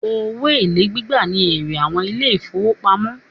Owó èlé gbígbà ní èrè àwọn ilé ìfọwọ́pamo.